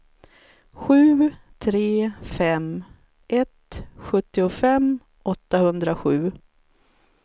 sju tre fem ett sjuttiofem åttahundrasju